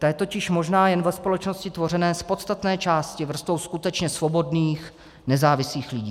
Ta je totiž možná jen ve společnosti tvořené z podstatné části vrstvou skutečně svobodných, nezávislých lidí.